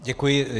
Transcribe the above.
Děkuji.